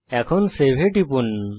এখন সেভ এ টিপুন